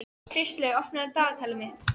Kristlaug, opnaðu dagatalið mitt.